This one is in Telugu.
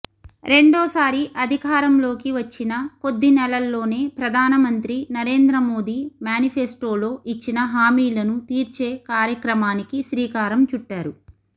రెండోసారి అధికారంలోకి వచ్చిన కొద్ది నెలల్లోనే ప్రధానమంత్రి నరేంద్రమోదీ మేనిఫెస్టోలో ఇచ్చిన హామీలను తీర్చే కార్యక్రమానికి శ్రీకారం చుట్టారు